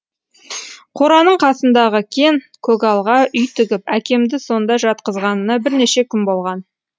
қораның қасындағы кен көгалға үй тігіп әкемді сонда жатқызғанына бірнеше күн болған